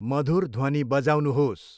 मधुर ध्वनि बजाउनुहोस्।